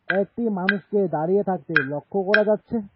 কয়েকটি মানুষকে দাঁড়িয়ে থাকতে লক্ষ্য করা যাচ্ছে।